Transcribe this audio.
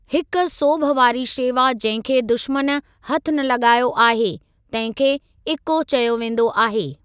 हिकु सोभ वारी शेवा जंहिं खे दुश्मन हथु न लॻायो आहे, तंहिं खे 'इक्को' चयो वेंदो आहे।